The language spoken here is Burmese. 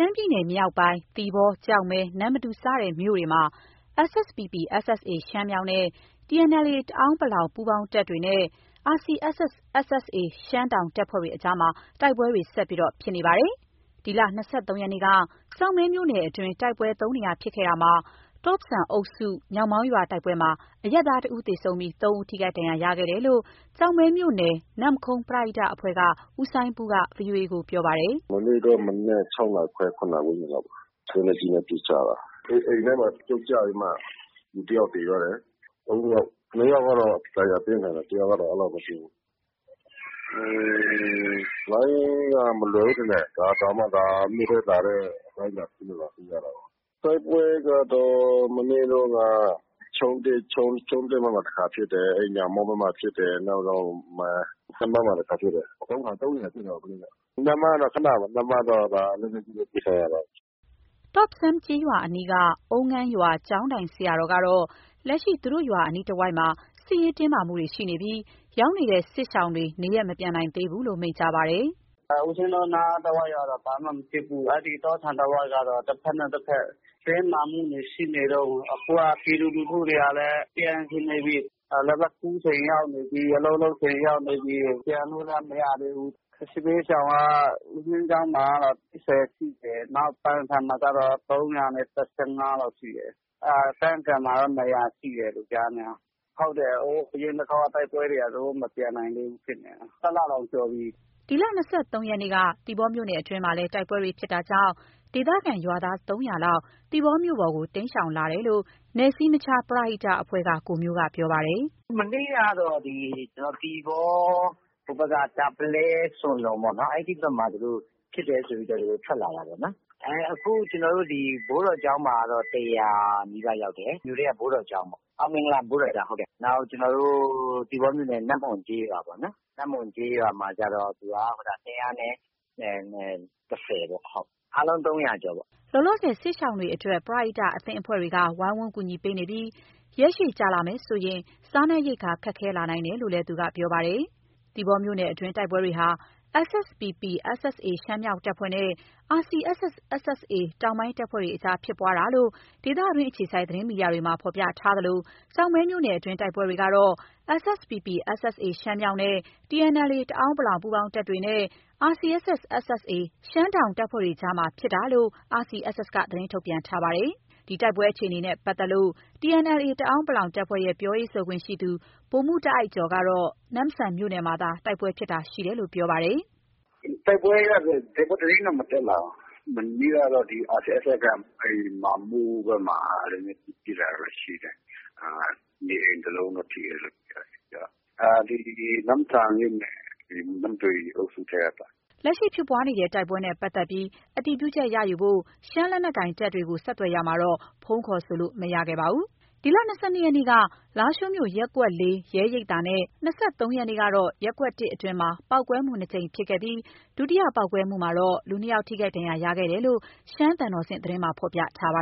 မ်းပြည်နယ်မြောက်ပိုင်း သီပေါ၊ ကျောက်မဲ ၊ နမ္မတူ စတဲ့မြို့နယ်တွေမှာ SSPP/SSA ရှမ်းမြောက်နဲ့ TNLA တအန်း(ပလောင်) ပူးပေါင်းတပ်တွေနဲ့ RCSS/SSA ရှမ်းတောင်တပ်ဖွဲ့တွေအကြားမှာ တိုက်ပွဲတွေ ဆက်လက်ဖြစ်ပွားနေတာပါ။ ဒီလ ၂၃ ရက်နေ့က ကျောက်မဲမြို့နယ်အတွင်း တိုက်ပွဲ ၃ နေရာဖြစ်ခဲ့ရာမှာ တော့ဆန်အုပ်စု ညောင်မောင်းရွာ တိုက်ပွဲမှာ အရပ်သား တစ်ဦးသေဆုံးပြီး ၃ ဦးထိခိုက်ဒဏ်ရာရခဲ့တယ်လို့ ကျောက်မဲမြို့နယ် နမ့်ခုံး ပရဟိတအဖွဲ့က ဦးစိုင်းပူးက ဗွီအိုအေကို ပြောပါတယ် “မနေ့က မနက် ၆ နာရီခွဲ၊ ၇ နာရီ ဝန်းကျင်လောက်ပေါ့။ လက်နက်ကြီးနဲ့ ပစ်ကြတာ။ အိမ်ထဲမှာ ပြုတ်ကျပြီးမှ လူတစ်ယောက်သေသွားတယ်။ ၃ ယောက်။ ၂ ယောက်ကတော့ ဒဏ်ရာပြင်းထန်တယ်။ တစ်ယောက်ကတော့ အဲဒီလောက်မရှိဘူး။ တိုက်ပွဲကတော့ မနေ့တုန်းက ချုံး(သစ်) ဘက်မှာ တစ်ခါဖြစ်တယ်။ အဲဒီ ညောင်မောင်း ဘက်မှာ ဖြစ်တယ်။ နောက် နမ့်မန်းမှာ တစ်ခါဖြစ်တယ်။ ၃ နေရာဖြစ်တယ်။ နမ့်မန်းကတော့ ခနပါ ။ နမ့်မန်းကတော့ လက်နက်ကြီးနဲ့ ပစ်ခံရတာ။” တော့ဆန်ကျေးရွာအနီးက အုံးငန်းရွာ ကျောင်းထိုင်ဆရာတော်ကတော့ လက်ရှိသူတို့ရွာအနီးတဝိုက်မှာ စစ်ရေးတင်းမာမှုတွေ ရှိနေပြီး ရောက်ရှိနေတဲ့ စစ်ရှောင်တွေ နေရပ်မပြန်နိုင်သေးကြောင်း မိန့်ကြားပါတယ်။ “ဦးဇင်းတို့နားကတော့ ဘာမှမဖြစ်ဘူး။ အဲဒီတော့ ဆန်တဝှိှုက်ကတော့ တစ်ဘက်နဲ့ တစ်ဘက် တင်းမာမှုတွေ ရှိနေတုန်း။ အခုက ပြည်သူလူထုတွေကလည်း ပြန်ချင်နေပြီ။ လက်ဖက်ခူးချိန်ရောက်နေပြီ။ အလုပ်လုပ်ချိန်ရောက်နေပြီ။ ပြန်လို့က မရသေးဘူး။ စစ်ဘေးရှောင်က ဦးဇင်းကျောင်းမှာတော့ ၈၀ ရှိတယ်။ နောက် ပန်ဆန်မှာကျတော့ ၃၁၅ လောက်ရှိတယ်။ ပန်ကန်မှာက ၂၀၀ လောက်ရှိတယ်ကြားနေတာ။ အရင်တစ်တစ်ခေါက် တိုက်ပွဲတွေက သူတို့ မပြန်နိုင်သေးဘူး။ တစ်လတောင် ကျော်ပြီ။” ဒီလ ၂၃ရက်နေ့က သီပေါမြို့နယ်အတွင်းမှာလည်း တိုက်ပွဲဖြစ်ပွားတာကြောင့် ဒေသခံရွာသား ၃၀၀ လောက် သီပေါမြို့ကို တိမ်းရှောင်လာကြောင်း နယ်စည်းမခြားပရဟိတ အဖွဲ့က ကိုမျိုးက ပြောပါတယ်။ “မနေ့ကတော့ ဒီ သီပေါ ဟိုဘက်က တာပလဲ၊ ဆွန်လုံပေါ့။ အဲဒီဘက်မှာ ဖြစ်တယ်ဆိုပြီးတော့ သူတို့ ထွက်လာတာပေါ့။ အခုဒီ ဘိုးတော်ကျောင်းမှာတော့ ၁၀၀နီးပါးရောက်တယ်။နောက်ကျနော်တို့ သီပေါမြို့နယ် နမ့်မွန်ကျေးရွာပေါ့။ နမ့်မွန်ကျေးရွာကျ သူက ၂၁၀ ပေါ့။ အားလုံး ၃၀၀ ကျော်ပေါ့။” လောလောဆယ် စစ်ရှောင်တွေအတွက် ပရဟိတအသင်းအဖွဲ့တွေက ဝိုင်းဝန်းကူညီပေးနေပြီး ရက်ရှည်ကြာလာမယ်ဆိုရင် စားနပ်ရိက္ခာ ခက်ခဲနိုင်ကြောင်း ဆက်ပြောပါတယ်။ သီပေါမြို့နယ်အတွင်းတိုက်ပွဲတွေဟာ SSPP/SSA ရှမ်းမြောက် တပ်ဖွဲ့နဲ့ RCSS/SSA တောင်ပိုင်းတပ်ဖွဲ့အကြားဖြစ်ပွားတာလို့ ဒေသတွင်းအခြေစိုက် သတင်းမီဒီယာတွေမှာ ဖော်ပြထားသလို ကျောက်မဲမြို့နယ်အတွင်း တိုက်ပွဲတွေကတော့ SSPP/SSA ရှမ်းမြောက်နဲ့ TNLA တအန်း(ပလောင်) ပူးပေါင်းတပ်တွေနဲ့ RCSS/SSA ရှမ်းတောင်တပ်ဖွဲ့တွေအကြားဖြစ်ပွားတာဖြစ်ကြောင်း RCSS က သတင်းထုတ်ပြန်ထားပါတယ်။ တိုက်ပွဲအခြေအနေနဲ့ ပတ်သက်ပြီး TNLA တအန်း(ပလောင်)တပ်ဖွဲ့ရဲ့ ပြောရေးဆိုခွင့်ရှိသူ ဗိုလ်မှုးတာ့အိုက်ကျော်ကတော့ နမ့်ဆန်မြို့နယ်မှာသာ တိုက်ပွဲဖြစ်တာရှိကြောင်း ပြောပါတယ်။ “တိုက်ပွဲကတော့။ တိုက်ပွဲသတင်းတော့ မတက်လာဘူး။ မနေ့ကတော့ RCSS က မာမုဘက်မှာ လက်နက်ကြီး ပစ်တာတော့ ရှိတယ်။ နေအိမ်တစ်လုံး ထိတယ်တော့ ပြောတယ်။ ဒီနမ့်ဆန်မြို့နယ် နမ့်တွေ အုပ်စုထဲကပေါ့။” လက်ရှိ ဖြစ်ပွားတဲ့ တိုက်ပွဲနဲ့ ပတ်သက်ပြီး အတည်ပြုချက်ရယူနိုင်ဖို့ ရှမ်းလက်နက်ကိုင်တပ်တွေကို ဆက်သွယ်ရမှာတော့ ဖုန်းခေါ်ဆိုလို့ မရပါဘူး။ ဒီလ ၂၂ရက်နေ့က လားရှိုးမြို့ ရပ်ကွက် ၄ ရဲရိပ်သာနဲ့ ၂၃ ရက်နေ့ကတော့ ရပ်ကွက် ၁ အတွင်းမှာ ပေါက်ကွဲမှု နှစ်ကြိမ်ဖြစ်ခဲ့ပြီး ဒုတိယပေါက်ကွဲမှုမှာတော့ လူ ၂ ယောက်ထိခိုက်ဒဏ်ရာရခဲ့ကြောင်း သျှမ်းသံတော်ဆင့် သတင်းမှာ ဖော်ပြထားပါ